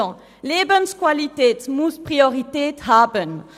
Die Lebensqualität muss Priorität haben.